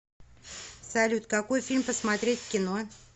салют какой фильм посмотреть в кино